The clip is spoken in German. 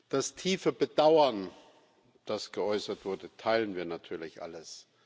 Das tiefe Bedauern, das geäußert wurde, teilen wir natürlich alles.